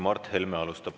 Mart Helme alustab.